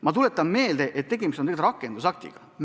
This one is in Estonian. Ma tuletan meelde, et tegemist on rakendusaktiga.